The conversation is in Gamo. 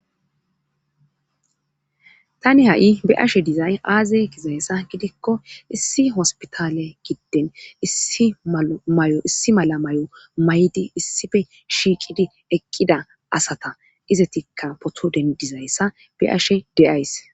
tani ha7i be'ashe dizay aaze gizayssa gidikko issi hospitale gidden issi amay7o issi mala may7o may7di issife shiiqidi eqqida asata izetikka poto ddizayssa be ashe de'ays